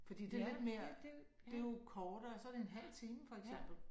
Fordi det lidt mere det jo kortere så det en halv time for eksempel